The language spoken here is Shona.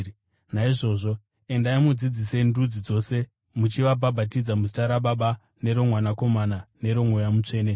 Naizvozvo endai mudzidzise ndudzi dzose, muchivabhabhatidza muzita raBaba, neroMwanakomana neroMweya Mutsvene,